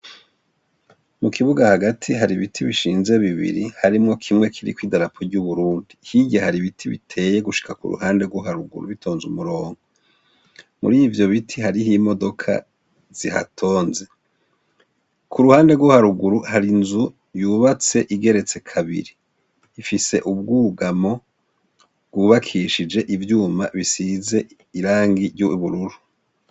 Mu kibuga hagati hari ibiti bishinze bibiri harimwo kimwe kiriko idarapo ry'uburundi. Hirya hari ibiti biteye gushika kuruhande rwo haruguru bitonze umurongo. Muri ivyo biti, hariho imodoka zihatonze. Kuruhande rwo haruguru, hari inzu yubatse igeretse kabiri. Ifise ubwugamo bwubakishije ivyuma bisize irangi ry'ubururu.